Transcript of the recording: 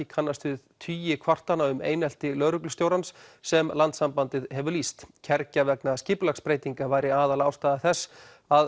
kannast við tugir kvartana um einelti lögreglustjórans sem Landssambandið hefur lýst kergja vegna skipulagsbreytinga væri aðalástæða þess að